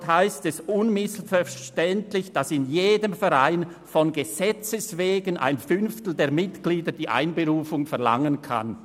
Darin heisst es unmissverständlich, dass in jedem Verein von Gesetzes wegen ein Fünftel der Mitglieder die Einberufung der Vereinsversammlung verlangen kann.